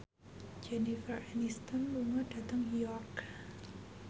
Jennifer Aniston lunga dhateng York